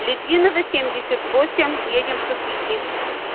литвинова семьдесят восемь едем в хохряки